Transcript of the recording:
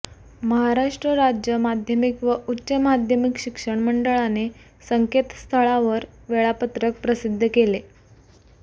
महाराष्ट्र राज्य माध्यमिक व उच्च माध्यमिक शिक्षण मंडळाने संकेतस्थळावर वेळापत्रक प्रसिद्ध केले